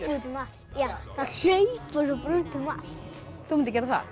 út um allt hlaupa svo út um allt þú myndir gera það